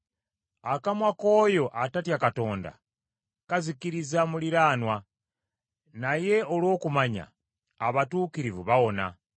Akamwa k’oyo atatya Katonda, kazikiriza muliraanwa, naye olw’okumanya, abatuukirivu bawona.